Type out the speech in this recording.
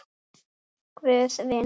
Guð vinnur.